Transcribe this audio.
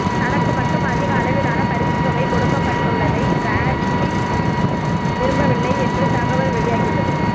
தனக்கு மட்டும் அதிக அளவிலான பரிசுத் தொகை கொடுக்கப்பட்டுள்ளதை டிராவிட் விரும்பவில்லை என்று தகவல் வெளியாகியுள்ளது